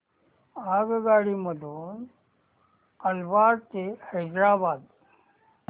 आगगाडी मधून अलवार ते हैदराबाद